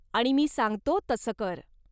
आणि मी सांगतो तसं कर.